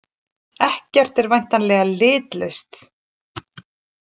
Ekkert er væntanlega litlaust.